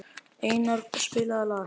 Einara, spilaðu lag.